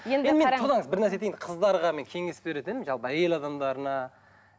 тыңдаңыз бірнәрсе айтайын қыздарға мен кеңес берер едім жалпы әйел адамдарына